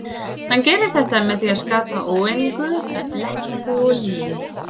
Hann gerir þetta með því að skapa óeiningu með blekkingum og lygi.